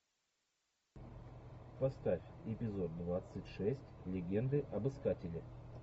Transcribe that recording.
поставь эпизод двадцать шесть легенды об искателе